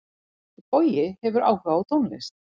Bogi hefur áhuga á tónlist.